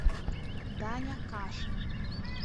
даня кашин